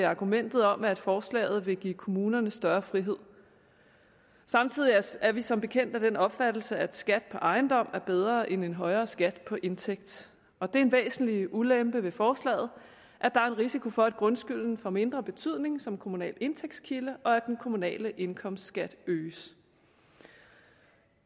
argumentet om at forslaget vil give kommunerne større frihed samtidig er vi som bekendt af den opfattelse at skat på ejendom er bedre end en højere skat på indtægt og det er en væsentlig ulempe ved forslaget at der er en risiko for at grundskylden får mindre betydning som kommunal indtægtskilde og at den kommunale indkomstskat øges